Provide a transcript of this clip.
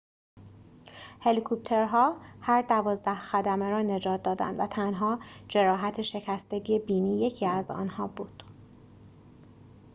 هلیکوپترها هر دوازده خدمه را نجات دادند و تنها جراحت شکستگی بینی یکی از آنها بود